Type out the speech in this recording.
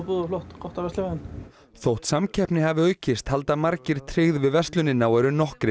gott að versla við hann þótt samkeppni hafi aukist halda margir tryggð við verslunina og eru nokkrir